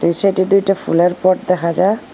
দু সাইডে দুইটা ফুলের পট দেখা যায়।